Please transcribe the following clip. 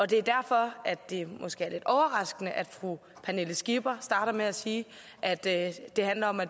det er derfor at det måske er lidt overraskende at fru pernille skipper starter med at sige at det det handler om at